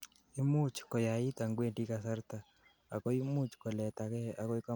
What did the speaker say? imuch koyait angwendi kasarta, akoimuch koletagei agoi komoswek alak end borto